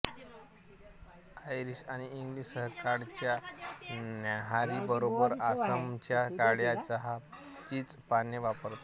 Irish आणि English सकाळच्या न्याहारी बरोबर आसामच्या काळ्या चहाचीच पाने वापरतात